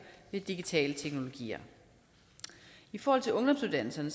ved digitale teknologier i forhold til ungdomsuddannelserne